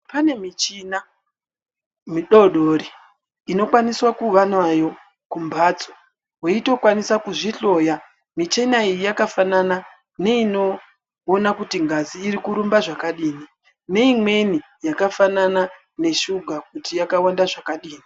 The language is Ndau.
Pane michina midoodori inokwaniswa kuva nayo kumbatso weitokwanisa kuzvihloya, michina iyi yakafanana neinoona kuti ngazi iri kurumba zvakadini neimweni yakafanana neshuga kuti yakawanda zvakadini